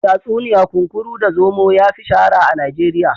Tatsuniya kunkuru da zomo yafi shahara a Najeriya.